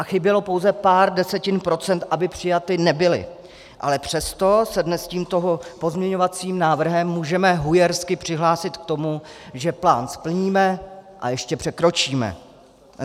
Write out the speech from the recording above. A chybělo pouze pár desetin procent, aby přijaty nebyly, ale přesto se dnes tímto pozměňovacím návrhem můžeme hujersky přihlásit k tomu, že plán splníme a ještě překročíme.